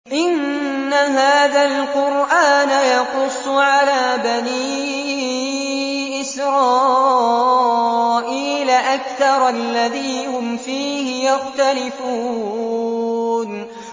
إِنَّ هَٰذَا الْقُرْآنَ يَقُصُّ عَلَىٰ بَنِي إِسْرَائِيلَ أَكْثَرَ الَّذِي هُمْ فِيهِ يَخْتَلِفُونَ